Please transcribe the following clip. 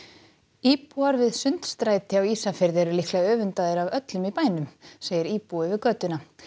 íbúar við Sundstræti á Ísafirði eru líklega öfundaðir af öllum í bænum segir íbúi við götuna